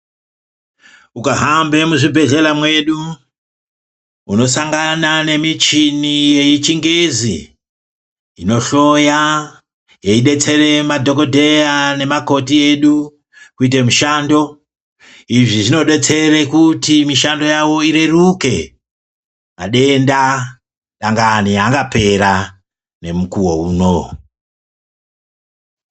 Ukahambe muzvibhehleya mwedu unosangane nemichini yechingezi inohloya yeidetsera madhokodheya nemakoti edu kuite mushando izvi zvinodetsere kuti mishando yawo ireruke ,madenda dangani angapera nemukuwo uno.